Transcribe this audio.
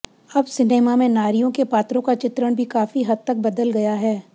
अब सिनेमा में नारियों के पात्रों का चित्रण भी काफी हद तक बदल गया है